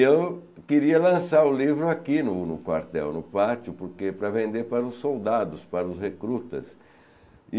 E eu queria lançar o livro aqui no no quartel, no pátio, porque para vender para os soldados, para os recrutas.